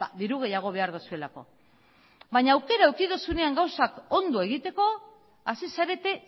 diru gehiago behar duzuelako baina aukera eduki duzuenean gauzak ondo egiteko hasi zarete